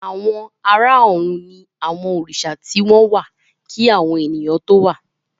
Àwọn àrà òrùn ní àwọn Òrìsà tí wón wá kí àwọn ènìyàn tó wá